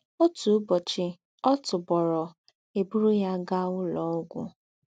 Òtú ùbọ́chì, ọ̀ tùbórò, è bùrù yá gaá úlọ́ ógwù.